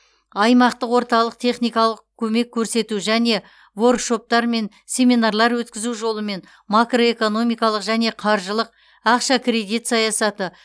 аймақтық орталық техникалық көмек көрсету және воркшоптар мен семинарлар өткізу жолымен макроэкономикалық және қаржылық ақша кредит саясаты